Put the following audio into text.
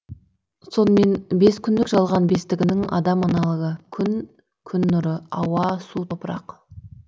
сонымен бес күндік жалған бестігінің адамдық аналогы күн күн нұры ауа су топырақ